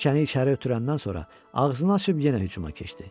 Tikəni içəri ötürəndən sonra ağzını açıb yenə hücuma keçdi.